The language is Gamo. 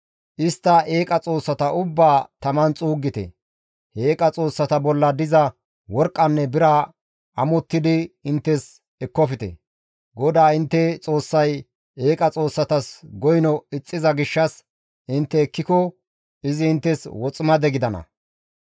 Istta eeqa xoossata ubbaa taman xuuggite; he eeqa xoossata bolla diza worqqanne bira amottidi inttes ekkofte; GODAA intte Xoossay eeqa xoossatas goyno ixxiza gishshas intte ekkiko izi inttes woximade gidana.